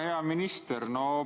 Hea minister!